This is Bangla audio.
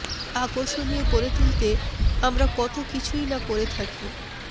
আকর্ষণীয় করে তুলতে আমরা কত কিছুই না করে থাকি